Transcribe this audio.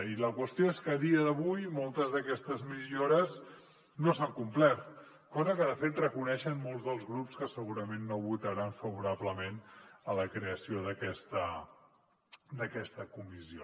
i la qüestió és que a dia d’avui moltes d’aquestes millores no s’han complert cosa que de fet reconeixen molts dels grups que segurament no votaran favorablement la creació d’aquesta comissió